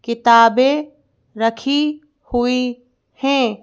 किताबें रखी हुई हैं।